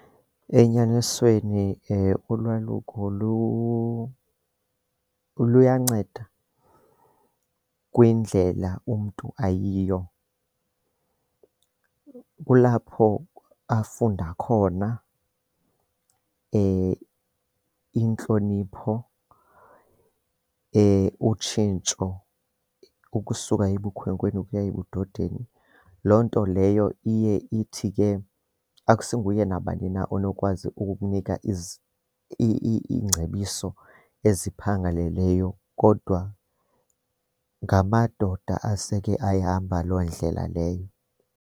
Enyanisweni ulwaluko luyanceda kwindlela umntu ayiyo. Kulapho afunda khona intlonipho utshintsho ukusuka ebukhwenkweni ukuya ebudodeni. Loo nto leyo iye ithi ke akusinguye nabani na onokwazi ukukunika iingcebiso eziphangaleleyo kodwa ngamadoda aseke ayihamba loo ndlela leyo.